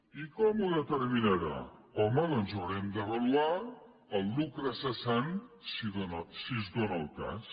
i com ho determinarà home doncs haurem d’avaluar el lucre cessant si es dóna el cas